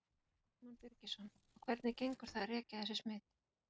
Símon Birgisson: Og hvernig gengur það að rekja þessi smit?